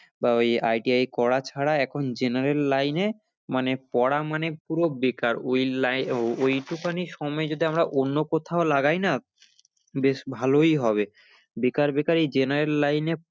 বা ওই ITI করা ছারা এখন general line এ মানে পড়া মানে পুরো বেকার ওই li~ ওইটুখানি সময় যদি আমরা অন্য কোথাও লাগাই না বেশ ভালোই হবে, বেকার বেকার এই general line এ